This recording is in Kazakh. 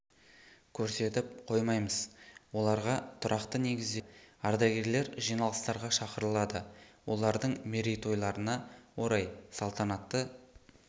көрсетіп қоймаймыз оларға тұрақты негізде материалық көмек көрсетіледі ардагерлер жиналыстарға шақырылады олардың мерейтойларына орай салтанатты